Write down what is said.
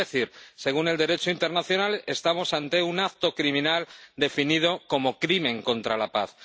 es decir, según el Derecho internacional, estamos ante un acto criminal definido como crimen contra la paz